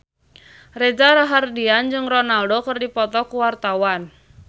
Reza Rahardian jeung Ronaldo keur dipoto ku wartawan